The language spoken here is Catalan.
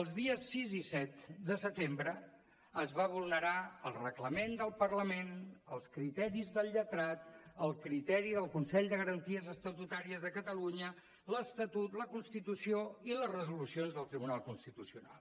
els dies sis i set de setembre es va vulnerar el reglament del parlament els criteris del lletrat el criteri del consell de garanties estatutàries de catalunya l’estatut la constitució i les resolucions del tribunal constitucional